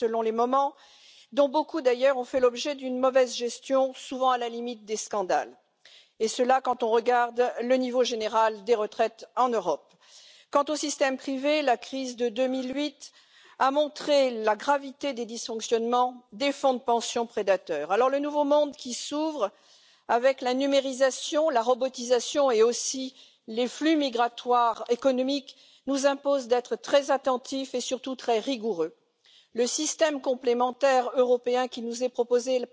I heard some ideological views from the left that we don't, but we do. We have a totally underdeveloped personal pension area when it comes to private pensions in Europe. The market is currently worth about EUR 700 billion. That could double in the next 10 years if we get it right, and that's about ensuring some certainty for savers, proper tax treatment when it comes to encouraging people to put money aside and also auto enrolment, as they have in the Netherlands and other places,